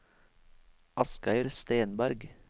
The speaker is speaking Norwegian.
Asgeir Stenberg